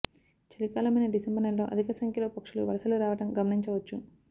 చలికాలమైన December నెలలో అధిక సంఖ్యలో పక్షులు వలసలు రావటం గమనించవచ్చు